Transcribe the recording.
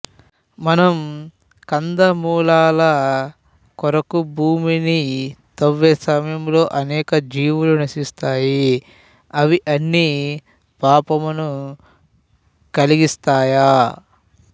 మనం కందమూలాల కొరకు భూమిని తవ్వే సమయంలో అనేక జీవులు నశిస్తాయి అవి అన్నీ పాపమును కలిగిస్తాయా